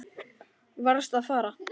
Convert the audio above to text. Varðst að fara.